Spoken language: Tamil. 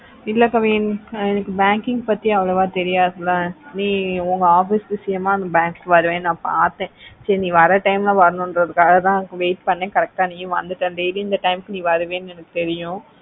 இல்லே kavin எனக்கு banking பத்தி அவொளவ தெரியாது ல நீ உங்க office விஷயமா bank கு வர ந பாத்தேன் சேரி நீ வர time ல வருனோனு தா வ்ருனோனு தா wait பண்ண correct ஆஹ் நீயே வந்துட்டா daily இந்த கு வருவேன்னு எனக்கு தெரியோ